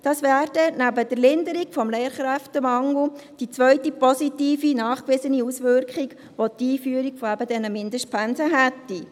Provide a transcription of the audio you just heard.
Dies wäre neben der Linderung des Lehrkräftemangels die zweite nachgewiesene positive Auswirkung, welche die Einführung eben dieser Mindestpensen hätte.